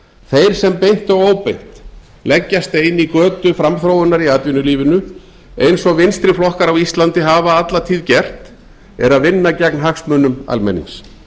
þeir sem beint og óbeint leggja stein í götu framþróunar í atvinnulífinu eins og vinstri flokkar á íslandi hafa alla tíð gert eru að vinna gegn hagsmunum almennings